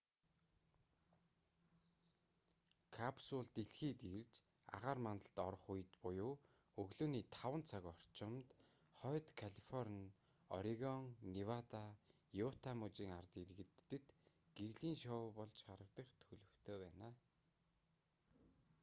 капсул дэлхийд ирж агаар мандалд орох үед буюу өглөөний 5 цаг зүүн бүсийн цагаар орчимд хойд калифорни орегон невада юта мужийн ард иргэдэд гэрлийн шоу болж харагдах төлөвтэй байна